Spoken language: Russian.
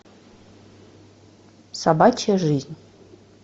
собачья жизнь